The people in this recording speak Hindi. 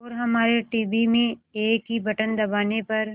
और हमारे टीवी में एक ही बटन दबाने पर